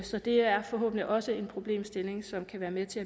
så det er forhåbentlig også en problemstilling som kan være med til